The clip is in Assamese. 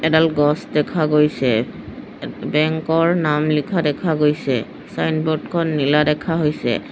এডাল গছ দেখা গৈছে এ বেংক ৰ নাম লিখা দেখা গৈছে চাইনব'ৰ্ড খন নীলা দেখা হৈছে।